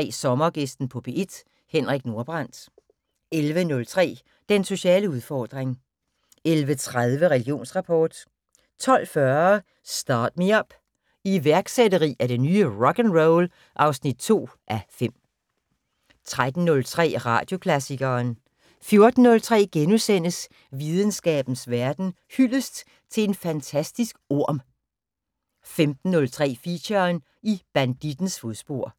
10:03: Sommergæsten på P1: Henrik Nordbrandt 11:03: Den sociale udfordring 11:30: Religionsrapport 12:40: Start Me Up - iværksætteri er det nye rock'n'roll (2:5) 13:03: Radioklassikeren 14:03: Videnskabens Verden: Hyldest til en fantastisk orm * 15:03: Feature: I bandittens fodspor